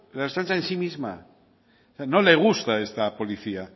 la ertzaintza en sí misma no le gusta esta policía